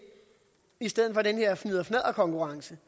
i stedet for den her fnidder fnadder konkurrence